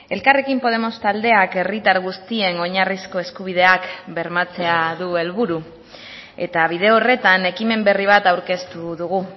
elkarrekin podemos taldeak herritar guztien oinarrizko eskubideak bermatzea du helburu eta bide horretan ekimen berri bat aurkeztu dugu